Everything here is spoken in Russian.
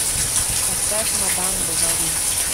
поставь мадам бовари